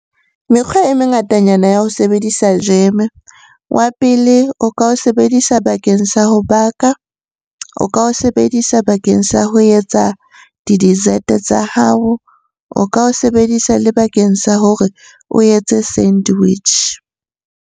Mekgwa e mengatanyana ya ho sebedisa jam-e. Wa pele, o ka o sebedisa bakeng sa ho baka, o ka o sebedisa bakeng sa ho etsa di-dessert tsa hao, o ka o sebedisa le bakeng sa hore o etse sandwich.